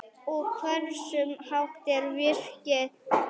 Og hversu hátt er virkið?